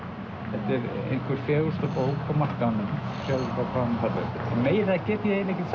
þetta er einhver fegursta bók á markaðnum sjáðu bara hvað hún er falleg meira get ég eiginlega ekki